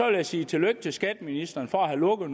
jeg sige tillykke til skatteministeren for at have lukket